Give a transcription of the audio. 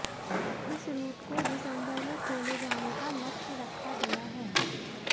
इस रूट को दिसंबर में खोले जाने का लक्ष्य रखा गया है